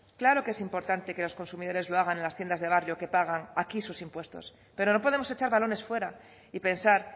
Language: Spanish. claro que es importante que los consumidores lo hagan en las tiendas de barrio que pagan aquí sus impuestos pero no podemos echar balones fuera y pensar